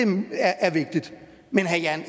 er vigtigt men herre jan